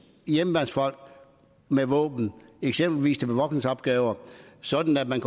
hjemmeværnsfolk med våben eksempelvis til bevogtningsopgaver sådan at man